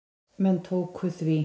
Menn tóku því.